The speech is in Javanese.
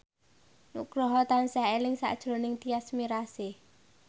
Nugroho tansah eling sakjroning Tyas Mirasih